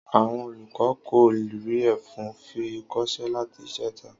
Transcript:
Àwon olùkó kò rí efun fi kosé láti ìjeta